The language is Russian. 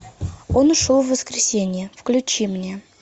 он ушел в воскресенье включи мне